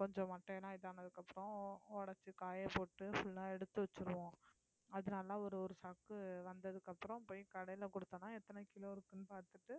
கொஞ்சம் மட்டை எல்லாம் இது ஆனதுக்கு அப்புறம் உடைச்சு காயப்போட்டு full ஆ எடுத்து வச்சிருவோம் அதனால ஒரு ஒரு சாக்கு வந்ததுக்கு அப்புறம் போய் கடையில கொடுத்தோம்னா எத்தன கிலோ இருக்குன்னு பார்த்துட்டு